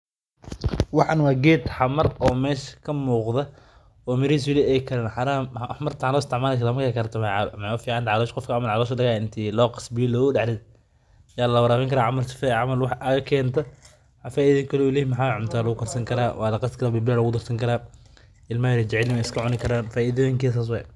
Waxan wa geed xamar oo mesha kamugda, oo mirixiisa wali ay kariin, xamarta waxa loo isticmalikarta markay karto walacabi karaa, waxay uficantaxay gofka calosha marki lagaxayo inti logaso biya logadaxrido ya lawarawinkaraa sifee camal wax uga kentah, faidada kale u leyah waxa wayee cunta lagukarsankaraa, walaqasi karaa, pilipili aya lagudarsani karaa, ilmaxa yar way jacelyixiin way iskacunikaran, faidoyinked sas waye.